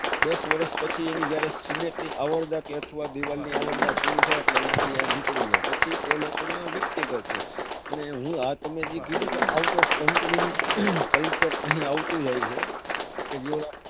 દસ વરસ પછી એની જયારે cement ની અવણના કે અથવા દીવાલ ની અવણના પુરી થાય એટલે અહિયાંથી નીકળી જાય. પછી તે વ્યક્તિ ગોતે. અને હું હાલ તમે જે કીધું કે out of country નું culture અને આવતો જાય છે.